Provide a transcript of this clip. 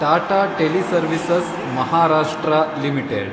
Tata teleservices (Maharashtra) limited